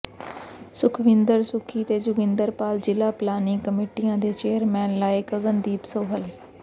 ਸੁਖਵਿੰਦਰ ਸੁੱਖੀ ਤੇ ਜੋਗਿੰਦਰ ਪਾਲ ਜ਼ਿਲਾ ਪਲਾਨਿੰਗ ਕਮੇਟੀਆਂ ਦੇ ਚੇਅਰਮੈਨ ਲਾਏ ਗਗਨਦੀਪ ਸੋਹਲ